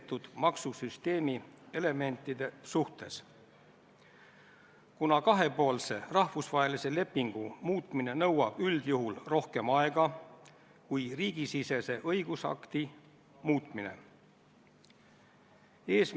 Stenogrammi huvides ma siiski tahaks märkida, esiteks, et Siim Kallas ei ole haiglas, ja teiseks, Siim Kallase telefon töötab väga hästi, ma isiklikult rääkisin temaga täpselt viis minutit tagasi, see töötas ka kümme minutit tagasi.